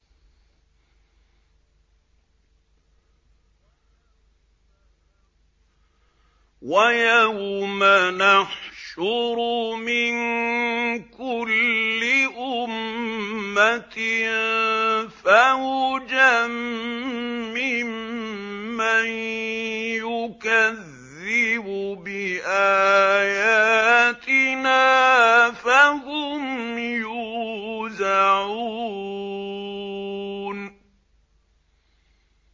وَيَوْمَ نَحْشُرُ مِن كُلِّ أُمَّةٍ فَوْجًا مِّمَّن يُكَذِّبُ بِآيَاتِنَا فَهُمْ يُوزَعُونَ